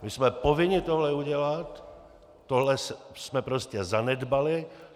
My jsme povinni tohle udělat, tohle jsme prostě zanedbali.